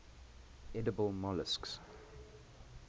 edible molluscs